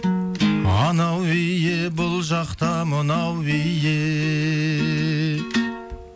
анау биі бұл жақта мынау биі